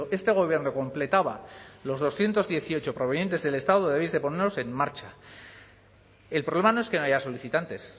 que este gobierno completaba los doscientos dieciocho provenientes del estado debéis de ponerlos en marcha el problema no es que no haya solicitantes